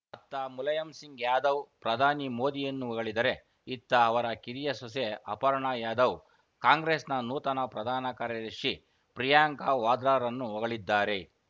ಅತ್ತ ಮುಲಾಯಂಸಿಂಗ್‌ ಯಾದವ್‌ ಪ್ರಧಾನಿ ಮೋದಿಯನ್ನು ಹೊಗಳಿದರೆ ಇತ್ತ ಅವರ ಕಿರಿಯ ಸೊಸೆ ಅಪರ್ಣಾ ಯಾದವ್‌ ಕಾಂಗ್ರೆಸ್‌ನ ನೂತನ ಪ್ರಧಾನ ಕಾರ್ಯದರ್ಶಿ ಪ್ರಿಯಾಂಕಾ ವಾದ್ರಾರನ್ನು ಹೊಗಳಿದ್ದಾರೆ